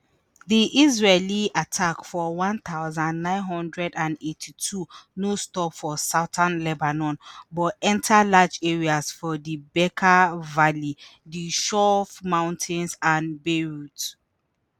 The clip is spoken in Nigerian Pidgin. di israeli attack for one thousand, nine hundred and eighty-two no stop for southern lebanon but enta large areas for di bekaa valley di chouf mountains and beirut